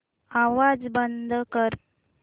आवाज बंद कर